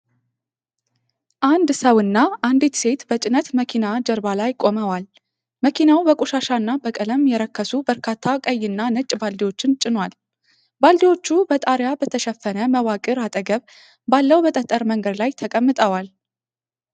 አንድ ሰውና አንዲት ሴት በጭነት መኪና ጀርባ ላይ ቆመዋል። መኪናው በቆሻሻና በቀለም የረከሱ በርካታ ቀይና ነጭ ባልዲዎችን ጭኗል። ባልዲዎቹ በጣሪያ በተሸፈነ መዋቅር አጠገብ ባለው በጠጠር መንገድ ላይ ተቀምጠዋል።